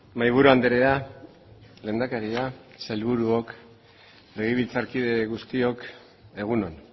mahaiburu andrea lehendakaria sailburuok legebiltzarkide guztiok egun on